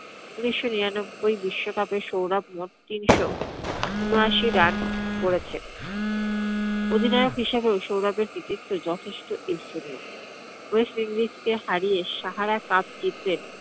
উনিশশো নিরানব্বই বিশ্ব cup এ সৌরভ মোট তিনশো উনআশি run করেছেন । অধিনায়ক হিসাবেও সৌরভের কৃতিত্ব যথেষ্ট । west indies কে হারিয়ে সাহারা cup জিতলেন